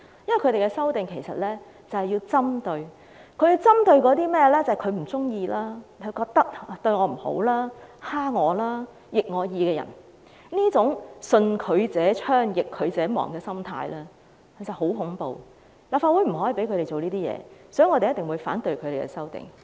因為他們的修正案是要搞針對，針對那些他們不喜歡、覺得對他們不好、欺負他們、逆他們意的人，這種"順之者昌，逆之者亡"的心態真的很恐怖，立法會不能讓他們這樣做，所以我們定必反對他們的修正案。